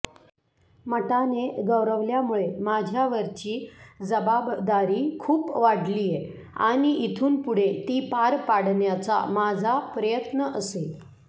मटाने गौरवल्यामुळे माझ्यावरची जबाबदारी खूप वाढलीय आणि इथून पुढे ती पार पाडण्याचा माझा प्रयत्न असेल